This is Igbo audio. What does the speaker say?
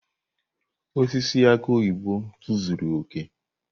Osisi aki oyibo tozuru oke.